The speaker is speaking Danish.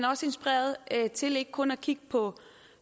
også inspireret til ikke kun at kigge på